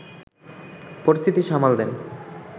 পরিস্থিতি সামাল দেন